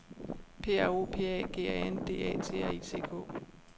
P R O P A G A N D A T R I C K